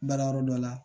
Baara yɔrɔ dɔ la